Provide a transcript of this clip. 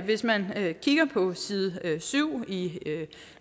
hvis man kigger på side syv i